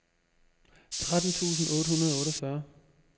tretten tusind otte hundrede og otteogfyrre